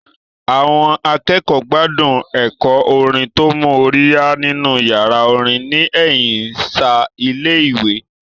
Àwọn akẹ́kọ̀ọ́ gbádùn ẹ̀kọ́ orin tó mú orí yá nínú yàrá orin ní ẹ̀yìn ṣáá ilé ìwé